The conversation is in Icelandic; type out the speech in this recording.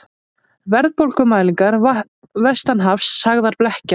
Verðbólgumælingar vestanhafs sagðar blekkja